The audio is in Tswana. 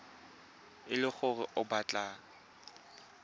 e le gore o batla